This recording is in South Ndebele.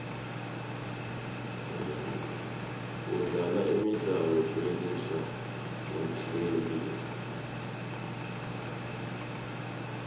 kudlala imidlalo kwehlisa umzimba